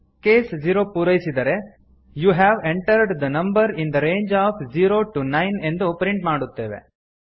case 0 ಪೂರೈಸಿದರೆ you have entered the number in the range of zero to nine ಎಂದು print ಮಾಡುತ್ತೇವೆ